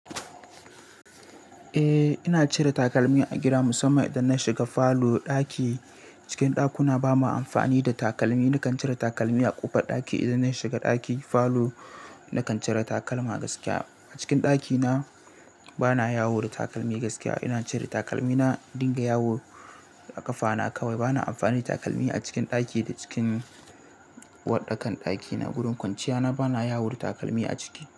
Eh, ina cire takalmi a gida musamman idan na shiga falo, ɗaki. Cikin ɗakuna ba ma amfani da takalmi, nakan cire takalmi a ƙofar ɗaki idan na shiga ɗaki, falo nakan cire takalma gaskiya. A cikin ɗakina bana yawo da takalmi gaskiya ina cire takalmi na in dinga yawo a ƙafa na kawai. Bana amfani takalmi a cikin ɗaki da cikin uwar ɗakan ɗaki na. Gurin kwanciyana bana yawo da takalmi a ciki.